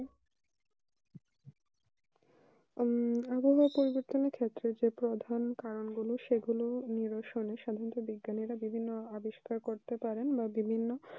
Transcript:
উম আবহাওয়া পরিবর্তনের ক্ষেত্রে প্রধান কারণ গুলি সাধারণ বিজ্ঞানীরা বিভিন্ন আবিষ্কার করতে পারে বা বিভিন্ন